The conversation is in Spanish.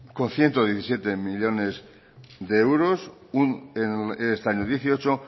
con ciento diecisiete millónes de euros este año dos mil dieciocho